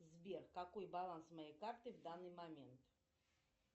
сбер какой баланс моей карты в данный момент